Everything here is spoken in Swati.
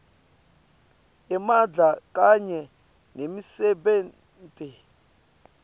emandla kanye nemisebenti